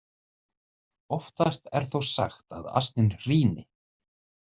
Oftast er þó sagt að asninn hríni.